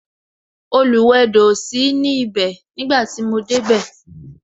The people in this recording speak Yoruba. Oluwedo o sí ní ibè nígbà tí mo dé bẹ